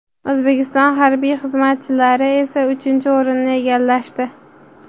O‘zbekiston harbiy xizmatchilari esa uchinchi o‘rinni egallashdi.